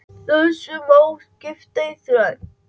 Þessu má skipta í þrennt.